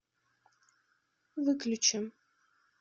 выключи